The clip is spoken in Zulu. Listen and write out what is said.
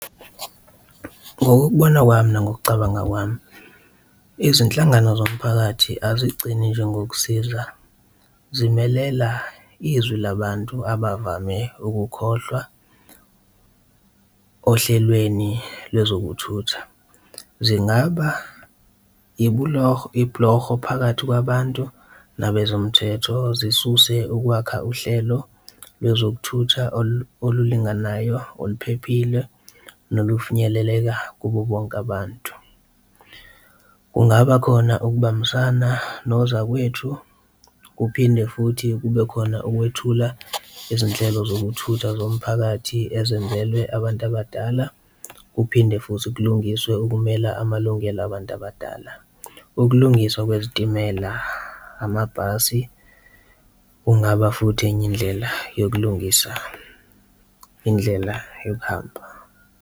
Ngokubona kwami nangokucabanga kwami, izinhlangano zomphakathi azigcini nje ngokusiza zimelela izwi labantu abavame ukukhohlwa ohlelweni lwezokuthutha, zingaba ibhuloho phakathi kwabantu nabezomthetho, zikususe ukwakha uhlelo lwezokuthutha olulinganayo, oluphephile nokufinyeleleka kubo bonke abantu. Kungaba khona ukubambisana nozakwethu, kuphinde futhi kube khona ukwethula izinhlelo zokuthutha zomphakathi ezenzelwe abantu abadala, kuphinde futhi kulungiswe ukumela amalungelo abantu abadala. Ukulungiswa kwezitimela, amabhasi kungaba futhi enye indlela yokulungisa indlela yokuhamba.